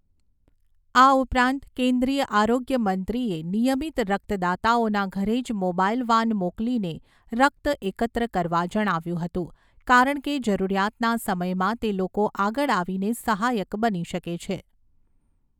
આ ઉપરાંત, કેન્દ્રીય આરોગ્ય મંત્રીએ નિયમિત રક્તદાતાઓના ઘરે જ મોબાઈલ વાન મોકલીને રક્ત એકત્ર કરવા જણાવ્યું હતું, કારણ કે જરૂરિયાતના સમયમાં તે લોકો આગળ આવીને સહાયક બની શકે છે.